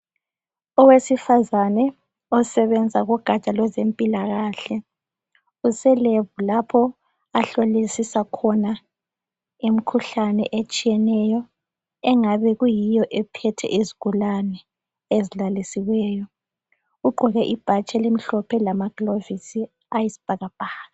Owesifazana osebenza kugatsha lwezempilakahle use lebhu lapho ahlolisisa khona imkhuhlane etshiyeneyo engabe iyiyo ephethe izigulane. Ugqoke ibhatshi elimhlophe lama gilovisi ayisibhakabhaka.